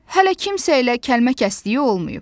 Hələ kimsə ilə kəlmə kəsdiyi olmayıb.